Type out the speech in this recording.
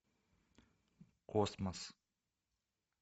космос